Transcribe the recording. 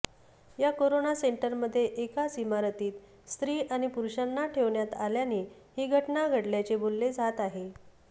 या कोरोना सेंटरमध्ये एकाच इमारतीत स्त्री आणि पुरूषांना ठेवण्यात आल्याने ही घटनाघडल्याचे बोलले जाते आहे